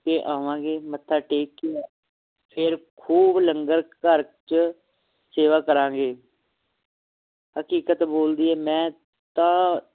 ਕੇ ਆਵਾਂਗੇ ਮੱਥਾ ਟੇਕ ਕੇ ਫੇਰ ਖੂਬ ਲੰਗਰ ਘਰ ਚ ਸੇਵਾ ਕਰਾਂਗੇ ਹਕੀਕਤ ਬੋਲਦੀ ਹੈ ਮੈਂ ਤਾ